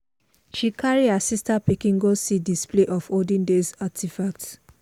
she carry her sister pikin go see display of olden days artifacts.